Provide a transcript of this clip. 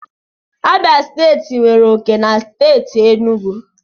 Abia steeti nwere oke na steeti Enugu